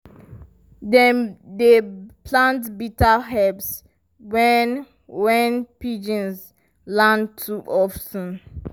dem dey plant bitter herbs when when pigeons land too of ten.